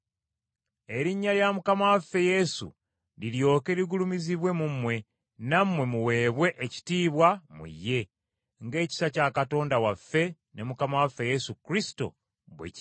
erinnya lya Mukama waffe Yesu liryoke ligulumizibwe mu mmwe, nammwe muweebwe ekitiibwa mu ye, ng’ekisa kya Katonda waffe ne Mukama waffe Yesu Kristo bwe kiri.